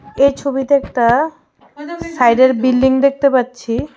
এই ছবিতে একটা সাইডের বিল্ডিং দেখতে পাচ্ছি .